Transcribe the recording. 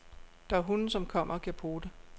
Der er hunde, som kommer og giver pote.